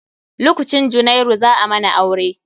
Lokcin junairu, za a mana aure.